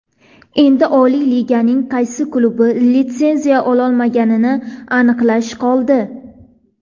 Endi Oliy Liganing qaysi klubi litsenziya ololmaganini aniqlash qoldi.